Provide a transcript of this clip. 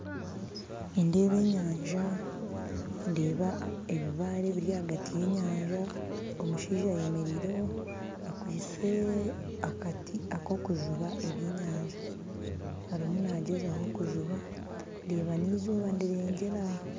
Nindeeba enyanja ndeeba ebibaare ebiri ahagati yenyanja omushaija ayemereireho akwaitse akati akokujuba ebyenyanja, arimu naagyezaho kujuba ndeeba n'eizooba nirirenga